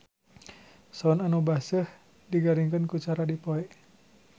Soun anu baseuh digaringkeun ku cara dipoe.